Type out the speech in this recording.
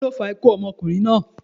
kíló fa ikú ọmọkunrin naa?